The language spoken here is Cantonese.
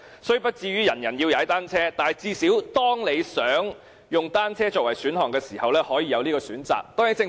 雖不至於人人要踏單車，但最少當市民想以單車作為代步工具時，可以有這個選擇。